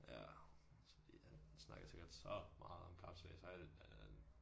Ja. Så ja han snakkede sikkert så meget om kapsejlads og alt det andet